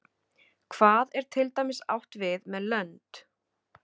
hvað er til dæmis átt við með lönd